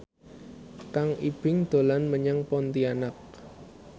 Kang Ibing dolan menyang Pontianak